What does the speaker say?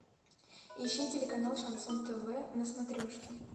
ищи телеканал шансон тв на смотрешке